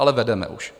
Ale vedeme už.